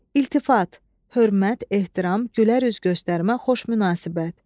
İltifat, hörmət, ehtiram, gülərüz göstərmə, xoş münasibət.